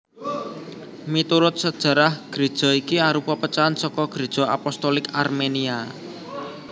Miturut sajarah Gréja iki arupa pecahan saka Gréja Apostolik Armenia